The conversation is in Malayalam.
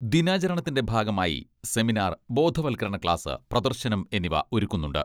ദിനാചരണത്തിന്റെ ഭാഗമായി സെമിനാർ, ബോധവത്കരണ ക്ലാസ്, പ്രദർശനം എന്നിവ ഒരുക്കുന്നുണ്ട്.